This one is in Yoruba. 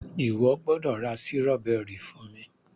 iwọ gbódò ra Sírọ́bẹ́rì fún mí!.